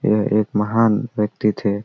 यह एक महान व्यक्ति थे।